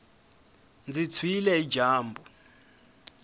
ndzi tshwile hi dyambu